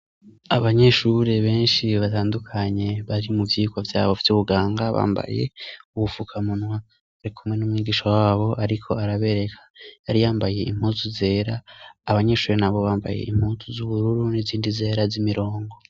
Abanyeshure benshi batandukanye bari mu vyigwa vyabo bafite ubuganga bambaye ubufukamunwa barikunwe n'umwigisha wabo ariko arabereka yari yambaye impuzu zera, abanyeshure nabo bambaye impuz z'ubururu n'izindi zera z'imirongo.